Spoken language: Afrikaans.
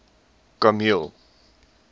kameel